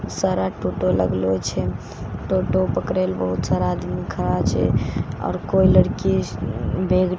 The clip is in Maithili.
सारा टोटो लगलो छे टोटो पकड़ै लए बहुत सारा आदमी खड़ा छे आओर कोई लड़की बेग बेग --